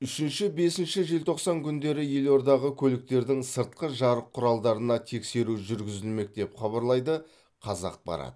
үшінші бесінші желтоқсан күндері елордағы көліктердің сыртқы жарық құралдарына тексеру жүргізілмек деп хабарлайды қазақпарат